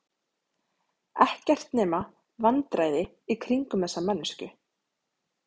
Ekkert nema vandræði í kringum þessa manneskju.